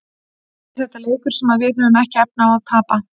Er þetta leikur sem að við höfum ekki efni á að tapa?